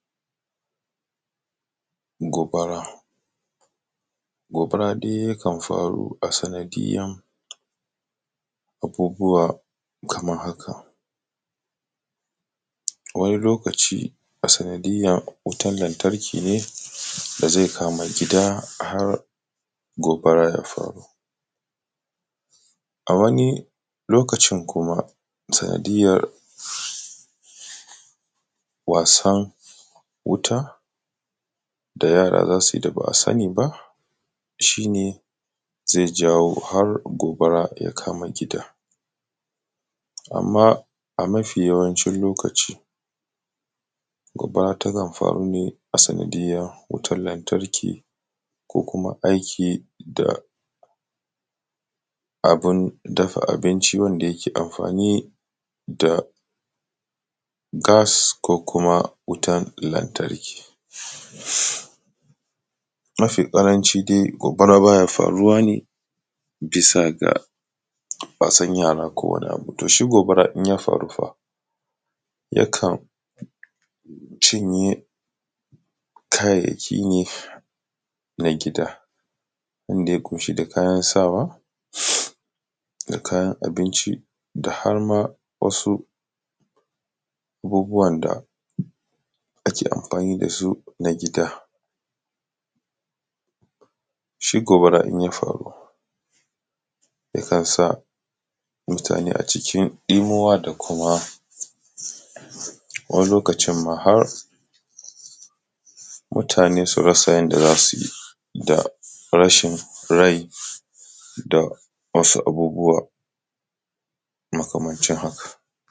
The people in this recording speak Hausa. Gobara. Gobara dai yakan faru a sanadiyan abubuwa kaman haka: wani lokaci a sanadiyan wutan lantarki ne da zai kama gida har gogara ya kamu, a wani lokacin kuma sanadiyyan wasan wuta da yara za su yi ba a sani ba shi ne ze jawo har gobara ya kama gida. Amma, a mafi yawancin lokaci gobara tana faruwa a sanadiyyan wutan lantarki ko kuma aiki da abin dafa abinci ko kuma ga masu amfani da gas da kuma wutan lantarki, mafiƙaranci dai gobara baya faru ne bisa ga wasan yara to shi gobara in ya faru fa yakan cinye kayayyaki ne na gida inda ya ƙunshi da kayan sawa da kayan abinci dama wasu abubuwan da ake anfani da su na gida. Shi gobara in ya faru ya kan sa mutane a cikin ɗinuwa da kuma wani lokacinma har mutane su fasa yanda za su yi da rashin rai da wasu abubuwa makamancin haka.